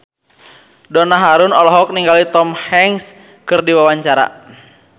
Donna Harun olohok ningali Tom Hanks keur diwawancara